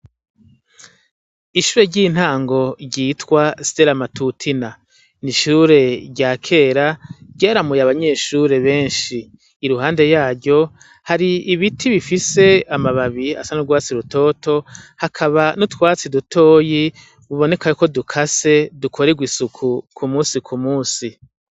Ishure ry' intango ryitwa stera matutina n' ishure rya kera ryaramuye abanyeshure benshi iruhande yaryo hari ibiti bifise amababi asa n' ugwatsi rutoto hakaba n' utwatsi dutoyi biboneka ko dukase dukoregwa isuku kumunsi kumunsi.